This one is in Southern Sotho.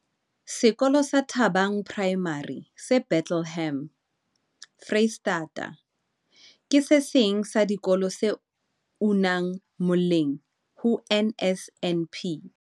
Sekolo sa Thabang Primary se Bethlehem, Freistata, ke se seng sa dikolo tse unang moleng ho NSNP.